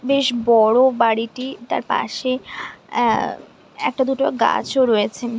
বেশ বড়ো বাড়িটি তার পাশে অ্যা একটা দুটো গাছ ও রয়েছে ।